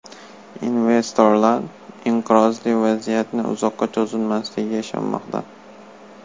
Investorlar inqirozli vaziyatning uzoqqa cho‘zilmasligiga ishonmoqda.